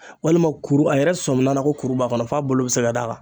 Walima kuru a yɛrɛ sɔmin'a na ko kuru b'a kɔnɔ f'a bolo be se ka d'a kan